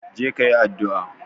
Je kayi addu'a